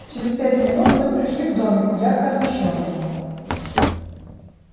через пять минут мы пришли к домику ярко освещённому